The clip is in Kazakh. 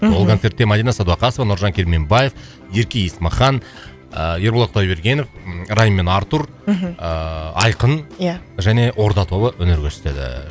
мхм ол концертке мадина садуақасова нұржан керменбаев ерке есмахан ыыы ерболат құдайбергенов райм мен артур мхм ыыы айқын ия және орда тобы өнер көрсетеді